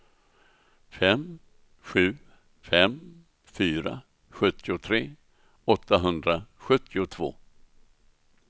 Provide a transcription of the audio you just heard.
fem sju fem fyra sjuttiotre åttahundrasjuttiotvå